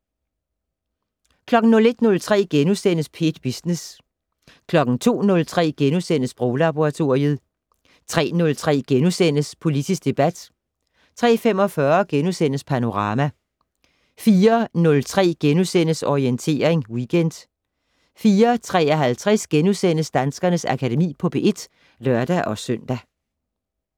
01:03: P1 Business * 02:03: Sproglaboratoriet * 03:03: Politisk debat * 03:45: Panorama * 04:03: Orientering Weekend * 04:53: Danskernes Akademi på P1 *(lør-søn)